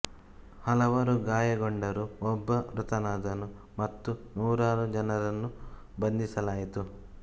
ಹಲವರು ಗಾಯಗೊಂಡರು ಒಬ್ಬ ಮೃತನಾದನು ಮತ್ತು ನೂರಾರು ಜನರನ್ನು ಬಂಧಿಸಲಾಯಿತು